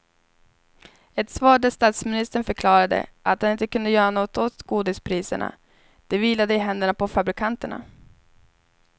Ett svar där statsministern förklarade att han inte kunde göra något åt godispriserna, det vilade i händerna på fabrikanterna.